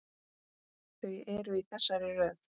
Þau eru í þessari röð: